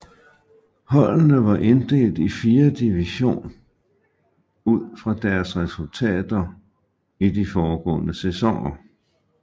Holdene var inddelt i fire division ud fra deres resultater i de foregående sæsoner